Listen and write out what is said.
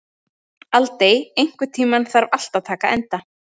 Aldey, einhvern tímann þarf allt að taka enda.